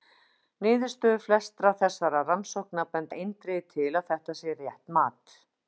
Niðurstöður flestra þessara rannsókna benda eindregið til að þetta sé rétt mat.